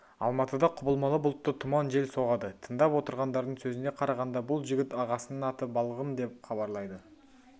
алматыда құбылмалы бұлтты тұман жел соғады тыңдап отырғандардың сөзіне қарағанда бұл жігіт ағасының аты балғын деп хабарлайды